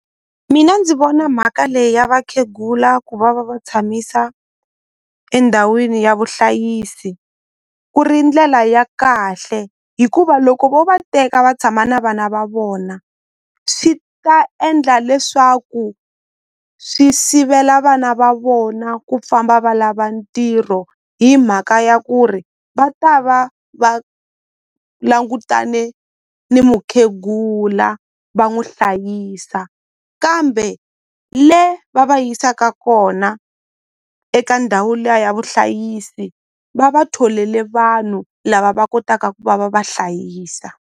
Mina ndzi vona mhaka leyi ya vakhegula ku va va va tshamisa endhawini ya vuhlayisi ku ri ndlela ya kahle hikuva loko vo va teka va tshama na vana va vona swi ta endla leswaku swi sivela vana va vona ku famba va lava ntirho hi mhaka ya ku ri va ta va va langutane ni mukhegula va n'wi hlayisa kambe le va va yisaka kona eka ndhawu liya ya vuhlayisi va va tholele vanhu lava va kotaka ku va va va hlayisa.